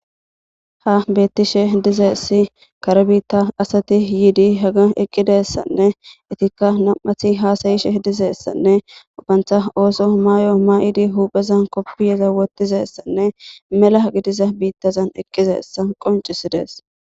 ha beettishe dizeessi kare biitta asati yiidi haga eqqidessanne itikka nam7ati haasayishe dizeessanne ubantha ooso maayo may7idi hupheza koppiyeza wotizessanne mela agidiza biittazan eqqizeessa qoncisidees